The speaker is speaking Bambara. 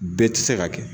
Bɛɛ tɛ se ka kɛ